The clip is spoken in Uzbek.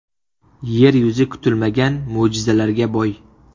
Yer yuzi kutilmagan mo‘jizalarga boy.